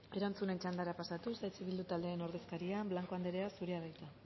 erantzunen txandara pasatuz eh bildu taldearen ordezkaria blanco anderea zurea da hitza